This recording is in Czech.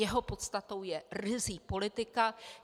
Jeho podstatou je ryzí politika.